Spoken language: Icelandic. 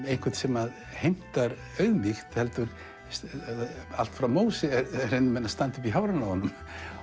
einhvern sem heimtar auðmýkt heldur allt frá Móse reyna menn að standa upp í hárinu á honum